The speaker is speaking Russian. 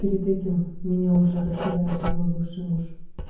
перед этим меня уже распидорасил мой бывший муж